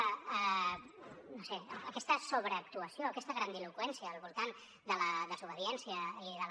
no ho sé aquesta sobreactuació aquesta grandiloqüència al voltant de la desobediència i de la